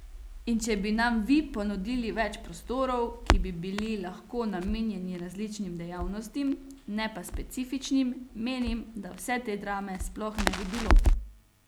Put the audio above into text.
In če bi nam vi ponudili več prostorov, ki bi bili lahko namenjeni različnim dejavnostim, ne pa specifičnim, menim, da vse te drame sploh ne bi bilo.